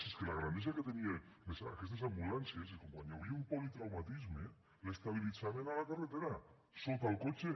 si és que la grandesa que tenien aquestes ambulàncies és que quan hi havia un politraumatisme l’estabilitzaven a la carretera sota el cotxe